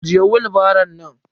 Ajiye willbaro nan.